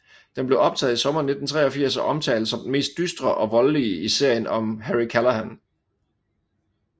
Den blev optaget i sommeren 1983 og omtales som den mest dystre og voldelige i serien om Harry Callahan